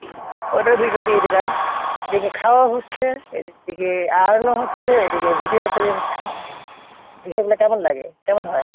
ওইটার video দিয়ে দিলাম। এদিকে খাওয়াও হচ্ছে, এদিকে earn ও হচ্ছে, এদিকে video ও তৈরি হচ্ছে, বিষয়টা কেমন লাগে, কেমন হয়?